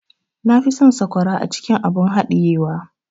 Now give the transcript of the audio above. Na fi son sakwara acikin abun hadiye wa.